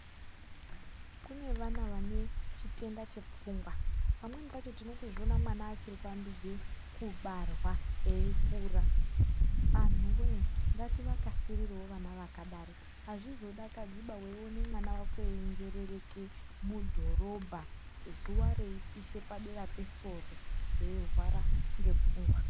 Kune vana vane chitenda chepfungwa. Pamweni pacho tinotozviona mwana achiri kuambidze kubarwa eikura. Anhuwee ngativakasirirewo vana vakadaro. Azvizodakadziba weione mwana wako einzerereke mudhorobha zuwa reipishe padera pesoro eirwara ngepfungwa.